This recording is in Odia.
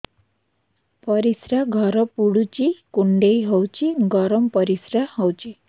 ପରିସ୍ରା ଘର ପୁଡୁଚି କୁଣ୍ଡେଇ ହଉଚି ଗରମ ପରିସ୍ରା ହଉଚି